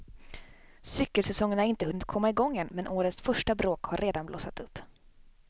Cykelsäsongen har inte hunnit komma igång än, men årets första bråk har redan blossat upp.